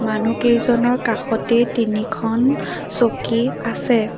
মানু্হকেইজনৰ কাষতে তিনিখন চকী আছে।